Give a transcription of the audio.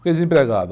Fiquei desempregado.